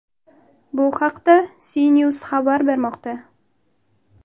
Bu haqda CNews xabar bermoqda .